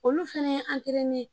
Olu fana ye